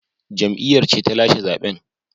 Jam’iyyar ce ta lashe zaben